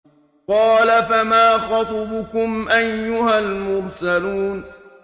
۞ قَالَ فَمَا خَطْبُكُمْ أَيُّهَا الْمُرْسَلُونَ